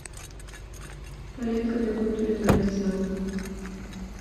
палетка для контуринга лица